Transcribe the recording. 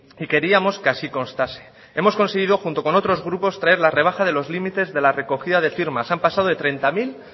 y queríamos que así constase hemos conseguido junto con otros grupos traer la rebaja de los límites de la recogida de firmas han pasado de treinta mil